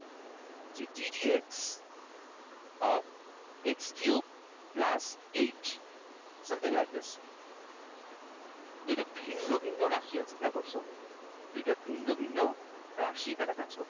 যে gdp of x cube plus eight something like this দুই টা ভিন্ন ভিন্ন রাশি আছে খেয়াল করছ । দুই টা ভিন্ন ভিন্ন রাশি এখানে কাজ করছে